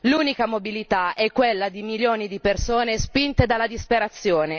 L'unica mobilità è quella di milioni di persone spinte dalla disperazione.